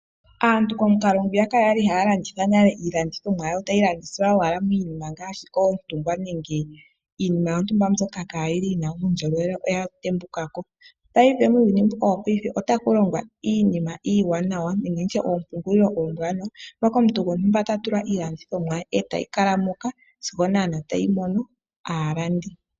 Aantu komukalo ngwiya kwali ha ya landitha nale iilandithomwa ya yo ta yi landithwa owala miinima ngaashi oontungwa nenge iinima yontumba mbyoka ka yi na uundjolowele oya tembukako . Paife muuyuni mbuka wo paife otakulongwa iinima iiwanawa nenge oompungulilo oombwanawa mpoka omuntu gontumba ta tula iilandithomwa ye eta yi kala moka sigo naana ta yi mono aalandi.